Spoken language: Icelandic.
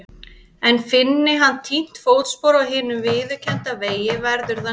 En finni hann týnt fótspor á hinum viðurkennda vegi verður það nýtt.